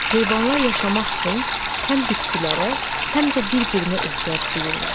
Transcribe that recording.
Heyvanlar yaşamaq üçün həm bitkilərə, həm də bir-birinə ehtiyac duyurlar.